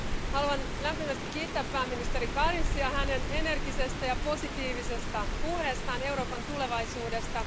Haluan lämpimästi kiittää pääministeri Kariņšia hänen energisestä ja positiivisesta puheestaan Euroopan tulevaisuudesta.